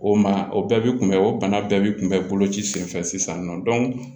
O ma o bɛɛ bi kunbɛ o bana bɛɛ bi kun bɛ bolo ci senfɛ sisan nɔ